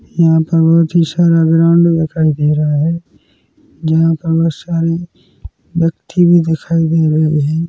यहाँ पर बहुत ही सारा ग्राउंड दिखाई दे रहा हैं यहाँ पर बहुत सारे व्यक्ति भी दिखाई दे रहे हैं।